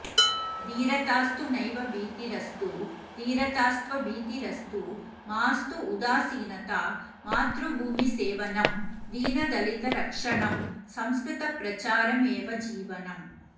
धीरतास्तु नैव भीतिरस्तु धीरतास्त्वभीतिरस्तु मास्तु उदासीनता मातृभूमिसेवनं दीनदलितरक्षणं संस्कृतप्रचार एव जीवनम्